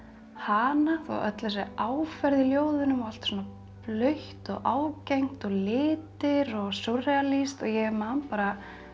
hana og öll þessi áferð í ljóðunum og allt svona blautt og ágengt og litir og súrrealískt ég man bara